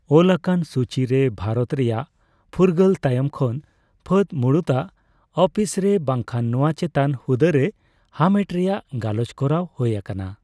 ᱚᱞ ᱟᱠᱟᱱ ᱥᱩᱪᱤᱨᱮ ᱵᱷᱟᱨᱚᱛ ᱨᱮᱭᱟᱜ ᱯᱷᱩᱨᱜᱟᱹᱞ ᱛᱟᱭᱚᱢ ᱠᱷᱚᱱ ᱯᱷᱟᱹᱫᱽ ᱢᱩᱲᱩᱛ ᱟᱜ ᱟᱹᱯᱤᱥᱨᱮ ᱵᱟᱝᱠᱷᱟᱱ ᱱᱚᱣᱟ ᱪᱮᱛᱟᱱ ᱦᱩᱫᱟᱹᱨᱮ ᱦᱟᱢᱮᱴ ᱨᱮᱭᱟᱜ ᱜᱟᱞᱚᱪ ᱠᱚᱨᱟᱣ ᱦᱳᱭ ᱟᱠᱟᱱᱟ ᱾